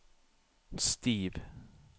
Steve